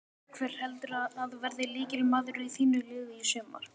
Hver heldurðu að verði lykilmaður í þínu liði í sumar?